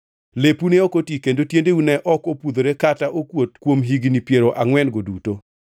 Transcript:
Lepu ne ok oti kendo tiendeu ne ok opudhore kata okuot kuom higni piero angʼwen-go duto.